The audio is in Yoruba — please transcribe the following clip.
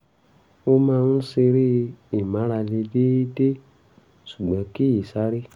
ó máa ń ṣeré ìmárale déédéé ṣùgbọ́n kì í sáré